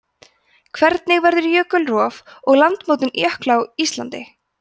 hvernig verður jökulrof og landmótun jökla á íslandi